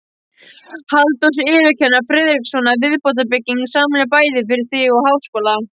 Halldórs yfirkennara Friðrikssonar viðbótarbygging, sameiginleg bæði fyrir þing og háskóla.